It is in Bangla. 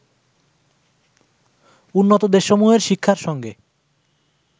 উন্নত দেশসমূহের শিক্ষার সঙ্গে